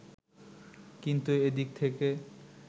কিন্তু এ দিক থেকে